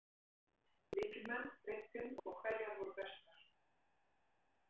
Lykilmenn, breiddin og hverjar voru bestar?